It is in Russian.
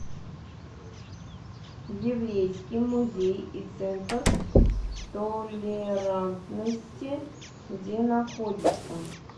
еврейский музей и центр толерантности где находится